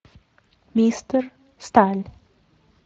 мистер сталь